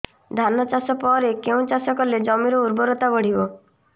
ଧାନ ଚାଷ ପରେ କେଉଁ ଚାଷ କଲେ ଜମିର ଉର୍ବରତା ବଢିବ